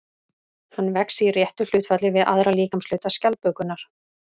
Hann vex í réttu hlutfalli við aðra líkamshluta skjaldbökunnar.